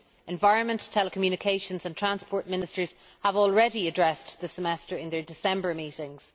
Environment, telecommunications and transport ministers have already addressed the Semester in their December meetings.